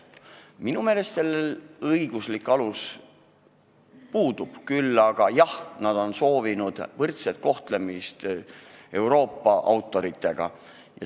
Minu meelest sellel õiguslik alus puudub, kuigi nad on soovinud võrdset kohtlemist Euroopa autoritega.